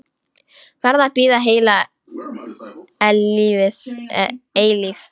Verð að bíða heila eilífð.